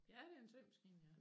Ja det en symaskine ja